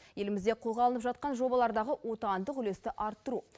елімізде қолға алынып жатқан жобалардағы отандық үлесті арттыру